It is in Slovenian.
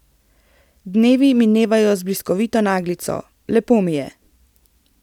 Dnevi minevajo z bliskovito naglico, lepo mi je.